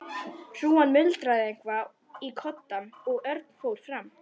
Hrúgan muldraði eitthvað í koddann og Örn fór fram.